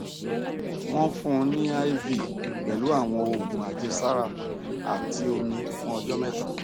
wọn fún un ní iv pẹlú àwọn oògùn àjẹsára àti omi fún ọjọ mẹta